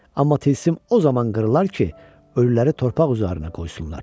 Amma tilsim o zaman qırılar ki, ölüləri torpaq üzərinə qoysunlar.